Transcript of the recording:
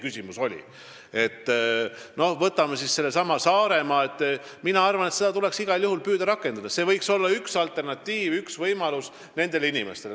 Küsimus on muidugi selles, kui hästi me suudame seda rakendada Eesti hajaasustuse aspekte arvestades, nagu teie küsimus oli.